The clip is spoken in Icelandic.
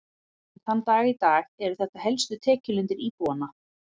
Enn þann dag í dag eru þetta helstu tekjulindir íbúanna.